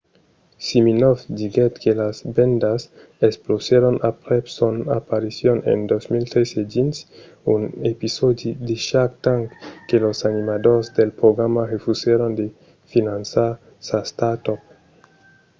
siminoff diguèt que las vendas explosèron aprèp son aparicion en 2013 dins un episòdi de shark tank que los animadors del programa refusèron de finançar sa start-up